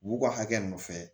U b'u ka hakɛ nɔfɛ